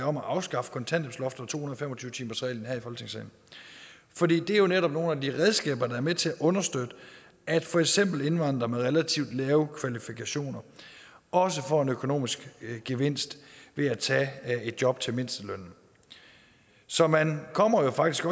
om at afskaffe kontanthjælpsloftet og to og fem og tyve timersreglen for det er jo netop nogle af de redskaber der er med til at understøtte at for eksempel indvandrere med relativt lave kvalifikationer også får en økonomisk gevinst ved at tage et job til mindstelønnen så man kommer faktisk